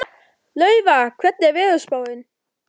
Laufar, hvernig er veðurspáin?